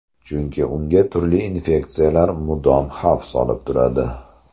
Chunki unga turli infeksiyalar mudom xavf solib turadi.